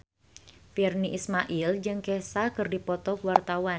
Virnie Ismail jeung Kesha keur dipoto ku wartawan